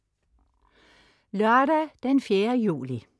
Lørdag den 4. juli